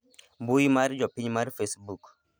mbui msr jopiny mar fecebook